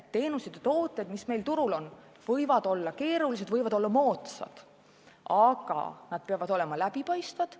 Teenused ja tooted, mis meil turul on, võivad olla keerulised, võivad olla moodsad, aga need peavad olema läbipaistvad.